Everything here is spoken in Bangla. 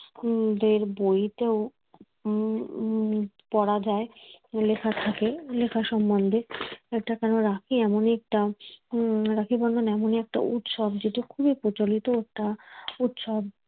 উম দের বইতেও উম পড়া যায় লেখা থাকে লেখা সম্বন্ধে একটা কেন রাখি এমনই একটা উম রাখি বন্ধন এমনই একটা উৎসব যেটা খুবই প্রচলিত একটা উৎসব